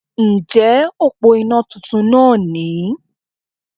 Ǹjẹ́ òpó iná titun náà ni